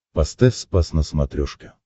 поставь спас на смотрешке